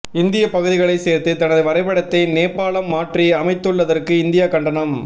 இந்திய பகுதிகளை சேர்த்து தனது வரைபடத்தை நேபாளம் மாற்றி அமைத்துள்ளதற்கு இந்தியா கண்டனம்